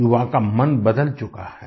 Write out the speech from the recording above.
युवा का मन बदल चुका है